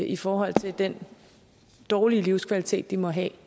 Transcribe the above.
i forhold til den dårlige livskvalitet de må have